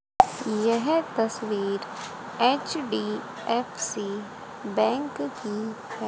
यह तस्वीर HDFC bank की है।